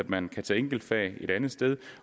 man kan tage enkeltfag et andet sted